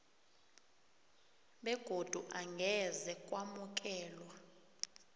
begodu angeze kwamukelwa